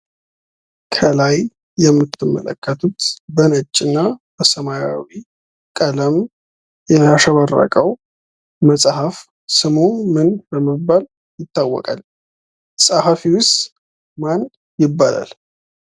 ከላይ የምትመለከቱት በነጭ እና በሰማያዊ ቀለም ያሸበረቀው መጽሐፍ ስሙ ምን በመባል ይታወቃል? ጸሃፊዉስ ማን ይባላል?